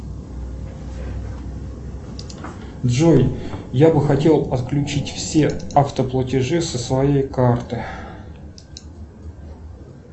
джой я бы хотел отключить все автоплатежи со своей карты